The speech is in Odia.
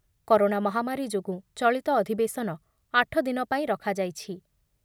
କରୋନା ମହାମାରୀ ଯୋଗୁଁ ଚଳିତ ଅଧିବେଶନ ଆଠ ଦିନ ପାଇଁ ରଖାଯାଇଛି ।